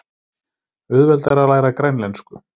Auðveldara að læra grænlensku